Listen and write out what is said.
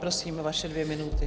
Prosím, vaše dvě minuty.